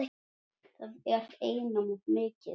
Það er einum of mikið.